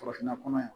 Farafinna kɔnɔ yan